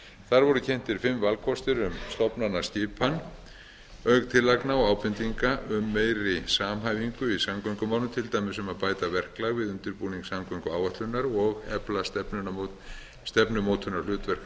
þar voru kynntir fimm valkostir um stofnanaskipan auk tillagna og ábendinga um meiri samhæfingu í samgöngumálum til dæmis um að bæta verklag við undirbúning samgönguáætlunar og efla stefnumótunarhlutverk